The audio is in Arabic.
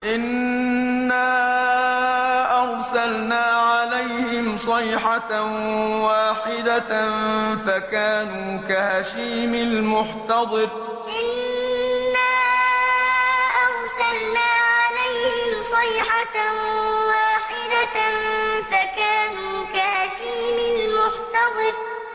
إِنَّا أَرْسَلْنَا عَلَيْهِمْ صَيْحَةً وَاحِدَةً فَكَانُوا كَهَشِيمِ الْمُحْتَظِرِ إِنَّا أَرْسَلْنَا عَلَيْهِمْ صَيْحَةً وَاحِدَةً فَكَانُوا كَهَشِيمِ الْمُحْتَظِرِ